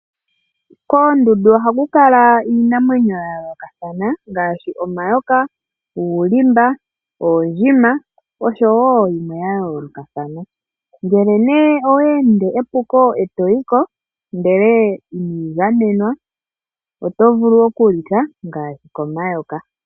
Koondundu ohaku kala iinamwenyo ya yoolokathana ngaashi omayoka, uulimba, oondjima osho wo yimwe ya yoolokathana. Ngele nee owa ende epuko e toyiko ndele inwiigamena , otovulu okulika ngaashi komayoka.